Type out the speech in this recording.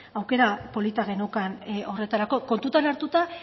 aukera polita geneukan horretarako kontuan hartuta